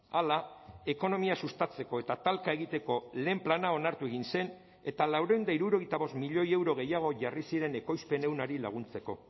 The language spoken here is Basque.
hala ekonomia sustatzeko eta talka egiteko lehen plana onartu egin zen eta laurehun eta hirurogeita bost milioi euro gehiago jarri ziren ekoizpen ehunari laguntzeko